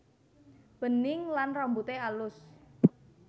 Bening lan rambute alus